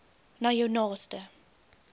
na jou naaste